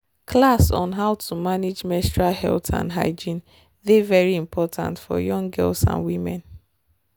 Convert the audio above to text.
class on how to manage menstual health and hygiene dey very important for young girls and women.